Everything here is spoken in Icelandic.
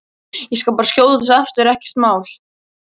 Ég skal bara skjótast aftur, ekkert mál!